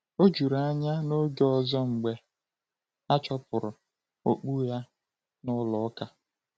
O jụrụ anya n’oge ọzọ mgbe a chụpụrụ okpu ya n’ụlọ ụka.